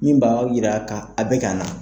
Min b' a jira ka a bɛ ka na